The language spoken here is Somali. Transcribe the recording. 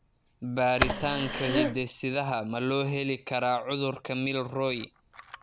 Baaritaanka hidde-sidaha ma loo heli karaa cudurka Milroy?